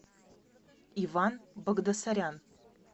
иван багдасарян